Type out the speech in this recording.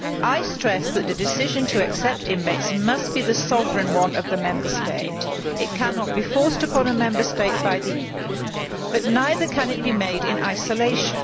I stress that the decision to accept inmates must be the sovereign one of the Member State. It cannot be forced upon a Member State by the EU, but neither can it be made in isolation.